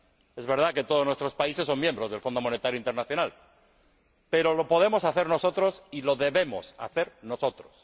Es verdad que todos nuestros países son miembros del Fondo Monetario Internacional, pero lo podemos hacer nosotros y lo debemos hacer nosotros.